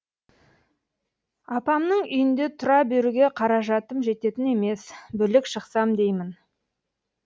апамның үйінде тұра беруге қаражатым жететін емес бөлек шықсам деймін